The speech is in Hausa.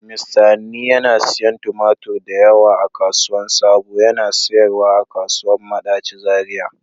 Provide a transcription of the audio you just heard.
Mista Hanni yana siyan tumatur da yawa a kasuwan sabo, yana sayarwa a kasuwan Madachi Zariya.